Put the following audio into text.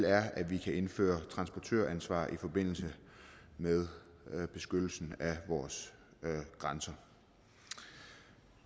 er at vi kan indføre et transportøransvar i forbindelse med beskyttelsen af vores grænser